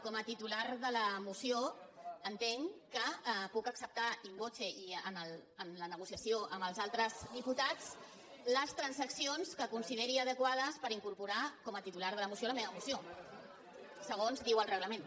com a titular de la moció entenc que puc acceptar in vocetres diputats les transaccions que consideri adequades per incorporar com a titular de la moció a la meva moció segons diu el reglament